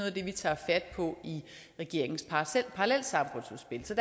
af det vi tager fat på i regeringens parallelsamfundsudspil så